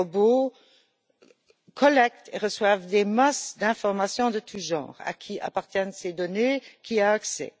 Les robots collectent et reçoivent des masses d'informations de tous genres à qui appartiennent ces données, qui y a accès?